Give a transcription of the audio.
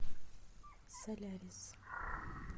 солярис